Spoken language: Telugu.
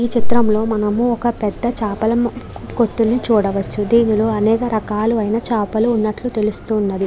ఈ చిత్రంలో మనము ఒక పెద్ద చాపల కొట్టిని చూడవచ్చు దీనిలో అనేక రకాలు అయిన చాపలు వున్నట్లు తెలుస్తున్నది.